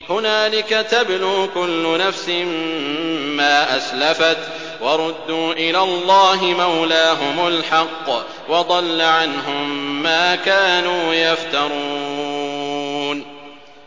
هُنَالِكَ تَبْلُو كُلُّ نَفْسٍ مَّا أَسْلَفَتْ ۚ وَرُدُّوا إِلَى اللَّهِ مَوْلَاهُمُ الْحَقِّ ۖ وَضَلَّ عَنْهُم مَّا كَانُوا يَفْتَرُونَ